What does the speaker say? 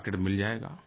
market मिल जायेगा